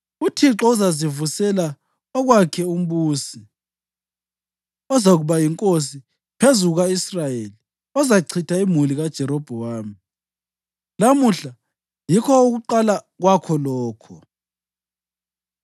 UThixo uzazivusela owakhe umbusi ozakuba yinkosi phezu kuka-Israyeli, ozachitha imuli kaJerobhowamu. Lamuhla yikho ukuqala kwakho lokho. + 14.14 Okutshiwo ngumutsho lo ngesiHebheru akukho sobala.